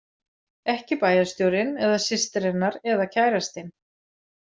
Ekki bæjarstjórinn eða systir hennar eða kærastinn.